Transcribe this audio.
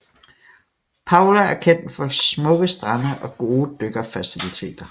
Palau er kendt for smukke strande og gode dykkerfaciliteter